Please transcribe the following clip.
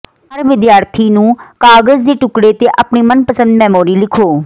ਹਰ ਵਿਦਿਆਰਥੀ ਨੂੰ ਕਾਗਜ਼ ਦੇ ਟੁਕੜੇ ਤੇ ਆਪਣੀਆਂ ਮਨਪਸੰਦ ਮੈਮੋਰੀ ਲਿਖੋ